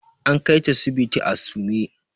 An kaita sibiti a sume.